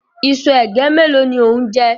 Iṣu ègé mélòó ni ó ń jẹ?